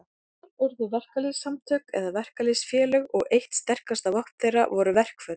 Til urðu verkalýðssamtök eða verkalýðsfélög, og eitt sterkasta vopn þeirra voru verkföll.